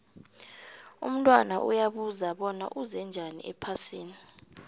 umntwana uyabuza bona uze njani ephasini